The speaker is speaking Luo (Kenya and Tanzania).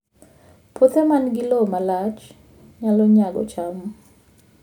Puothe ma nigi lowo ma lach nyalo nyago cham